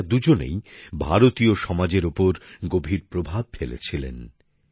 এঁরা দুজনেই ভারতীয় সমাজের ওপর গভীর প্রভাব ফেলেছিলেন